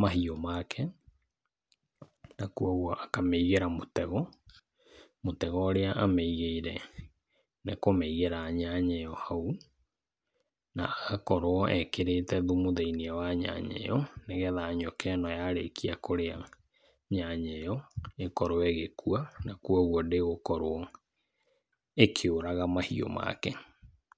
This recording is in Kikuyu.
mahiũ make, na kwoguo akamĩigĩra mũtego. Mũtego ũrĩa amĩigĩire nĩ kũmĩigĩra nyanyeyo hau, na agakorwo ekĩrĩte thumu thĩiniĩ wa nyanya ĩyo, nĩgetha nyoka ĩno yarĩkia kũrĩa nyanya ĩyo, ĩkorwo ĩgĩkua na kwoguo ndĩgũkorwo ĩkĩũraga mahiũ make.